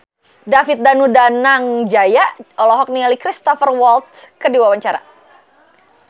David Danu Danangjaya olohok ningali Cristhoper Waltz keur diwawancara